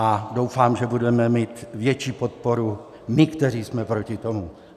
A doufám, že budeme mít větší podporu my, kteří jsme proti tomu.